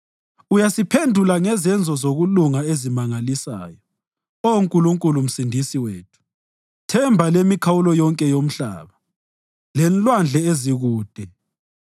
Uyasiphendula ngezenzo zokulunga ezimangalisayo, Oh Nkulunkulu Msindisi wethu, themba lemikhawulo yonke yomhlaba lenlwandle ezikude,